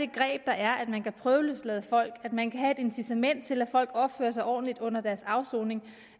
greb der er at man kan prøveløslade folk at man kan have det incitament til at folk opfører sig ordentligt under deres afsoning